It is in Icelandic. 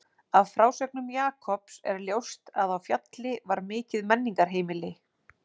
Af frásögnum Jakobs er ljóst að á Fjalli var mikið menningarheimili.